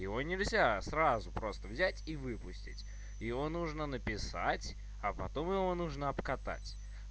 его нельзя сразу просто взять и выпустить её нужно написать а потом его нужно обкатать